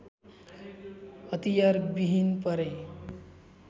हतियार विहीन पारे